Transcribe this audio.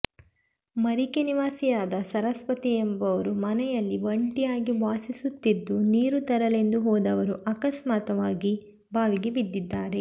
ಮರಿಕೆ ನಿವಾಸಿಯಾದ ಸರಸ್ವತಿ ಎಂಬವರು ಮನೆಯಲ್ಲಿ ಒಂಟಿಯಾಗಿ ವಾಸಿಸುತ್ತಿದ್ದು ನೀರು ತರಲೆಂದು ಹೋದವರು ಆಕಸ್ಮಿಕವಾಗಿ ಬಾವಿಗೆ ಬಿದ್ದಿದ್ದಾರೆ